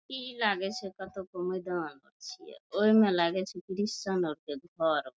इ लागे छै कतो को मैदान आर छीये ओय मे लागे छै क्रिश्चियन आर के घर।